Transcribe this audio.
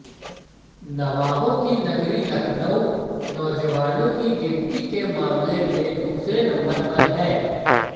नवाबों की नगरी लखनऊ नौजवानों की गिनती के मामले में दूसरे नंबर पर है